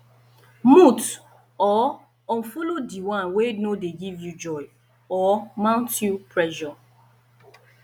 mute or unfollow di one wey no de give you joy or mount you pressure